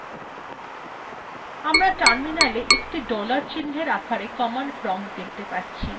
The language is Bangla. আমরা terminal একটি dollar চিন্হের আকারে command prompt দেখতে পাচ্ছি